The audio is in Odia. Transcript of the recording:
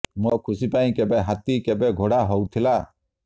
ମୋ ଖୁସି ପାଇଁ କେବେ ହାତୀ କେବେ ଘୋଡ଼ା ହଉଥିଲା